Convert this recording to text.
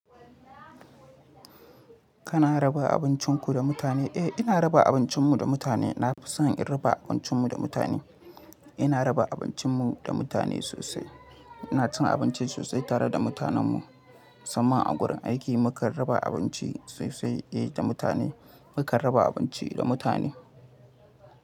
Kana raba abincinku da mutane? Eh, ina raba abincinmu da mutane. Na fi son in raba abincinmu da mutane. Ina raba abincinmu da mutane sosai. Ina cin abinci sosai tare da mutanen mu. Saman a gurin aiki muka raba abinci sosai da mutane. Muka raba abinci da mutane.